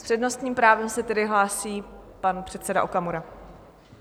S přednostním právem se tedy hlásí pan předseda Okamura.